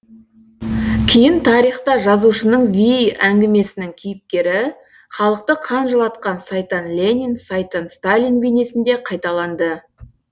кейін тарихта жазушының вий әңгімесінің кейіпкері халықты қан жылатқан сайтан ленин сайтан сталин бейнесінде қайталанды